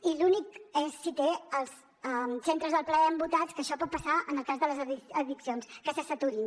i l’únic és si té els centres del plaer embotats que això pot passar en el cas de les addiccions que se saturin